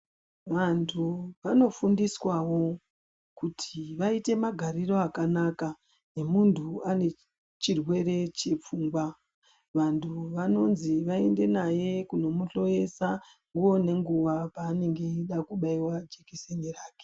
Vantu vanofundiswawo kuti vaite magariro akanaka, nemuntu anechirwere chepfungwa. Vantu vanonzi vaende naye kunomuhloyisa nguwa nenguwa paanenge echida kubaiwa jikisini yake.